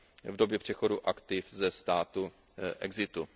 v době přechodu aktiv ze státu exitu.